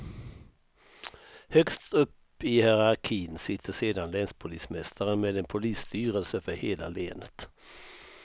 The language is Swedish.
Högst upp i hierarkin sitter sedan länspolismästaren med en polisstyrelse för hela länet.